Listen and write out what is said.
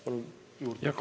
Palun aega juurde!